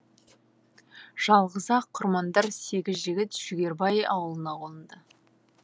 жалғыз ақ құрмандар сегіз жігіт жүгербай ауылына қонды